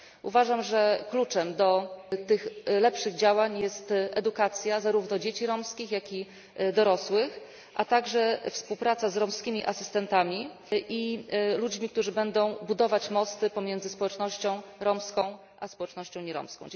Uważam, że kluczem do tych lepszych działań jest edukacja, zarówno dzieci romskich, jak i dorosłych, a także współpraca z romskimi asystentami i ludźmi, którzy będą budować mosty pomiędzy społecznością romską a społecznością nieromską.